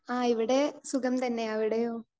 speaker 2 ആ ഇവിടെ സുഖം തന്നെ.അവിടെയോ